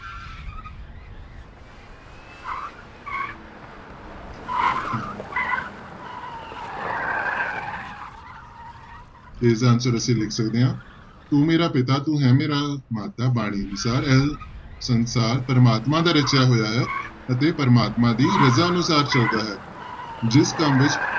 ਤੇ ਇਸਦਾ answer ਅਸੀਂ ਲਿਖ ਸਕਦੇ ਹਾਂ, ਤੂੰ ਮੇਰਾ ਪਿਤਾ ਤੂੰ ਹੈ ਮੇਰਾ ਮਾਤਾ ਬਾਣੀ ਅਨੁਸਾਰ ਇਹ ਸੰਸਾਰ ਪਰਮਾਤਮਾ ਦਾ ਰਚਿਆ ਹੋਇਆ ਹੈ ਅਤੇ ਪ੍ਰਮਾਤਮਾ ਦੀ ਰਜ਼ਾ ਅਨੁਸਾਰ ਚੱਲਦਾ ਹੈ, ਜਿਸ ਕੰਮ ਵਿੱਚ